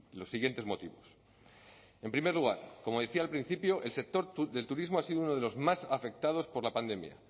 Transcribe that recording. los siguientes motivos en primer lugar como decía al principio el sector del turismo ha sido uno de los más afectados por la pandemia